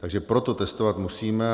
Takže proto testovat musíme.